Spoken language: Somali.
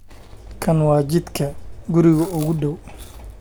kan wa jidka guriga ugu dhow